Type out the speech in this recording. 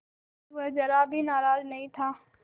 अब वह ज़रा भी नाराज़ नहीं था